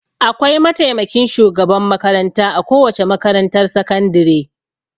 Akwai mataimakin shugaban makaranta a kowace makarantar sakandire.